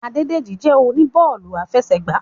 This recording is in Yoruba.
Adédèjì jẹ́ oníbọ́ọ̀lù afẹsẹ̀gbá